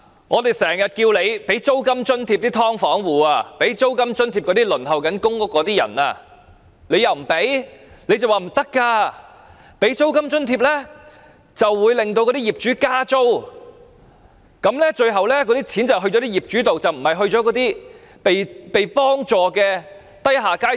我們經常要求政府提供租金津貼予"劏房"戶和輪候公屋的人，但政府拒絕，只說提供租金津貼會令業主加租，最後錢會到業主手上，而不是需要被幫助的低下階層。